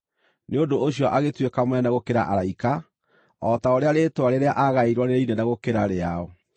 Nĩ ũndũ ũcio agĩtuĩka mũnene gũkĩra araika, o ta ũrĩa rĩĩtwa rĩrĩa aagaĩirwo rĩrĩ inene gũkĩra rĩao.